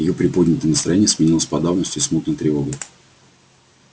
её приподнятое настроение сменилось подавленностью и смутной тревогой